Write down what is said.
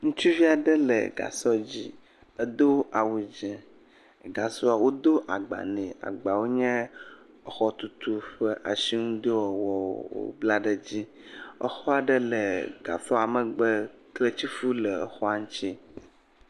Ŋutsuvi aɖe le gasɔ dzi, edo awu dzɛ̃, gasɔa, wodo agba nɛ, agbawo nye exɔtutu ƒe asinudɔwɔwɔwo wobla ɖe eŋuti, exɔ aɖe le gasɔa megbe, kletifɔ le exɔa ŋuti.